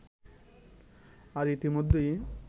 আর ইতোমধ্যেই